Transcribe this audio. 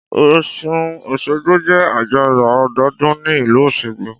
Ọ̀ṣun òṣogbo jẹ́ àjọyọ̀ ọdọọdún ní ìlú Osogbo